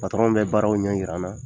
bɛ baaraww ɲɛyira n na.